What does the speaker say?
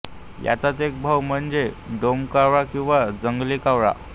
याचाच एक भाऊ म्हणजे डोमकावळा किंवा जंगली कावळा